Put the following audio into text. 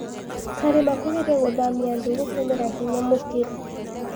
Karima kugeria gũthamia andũ gũtũmira hinya mũkĩru